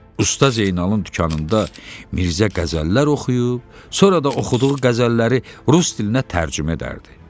Usta Zeynalın dükanında Mirzə qəzəllər oxuyub, sonra da oxuduğu qəzəlləri rus dilinə tərcümə edərdi.